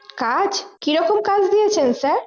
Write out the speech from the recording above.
কাজ কি রকম কাজ দিয়েছেন Sir